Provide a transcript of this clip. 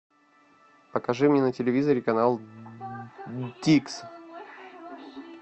покажи мне на телевизоре канал дикс